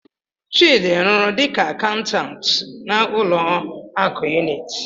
Chidi rụrụ dịka akaụntantụ n'ụlọ akụ Unity.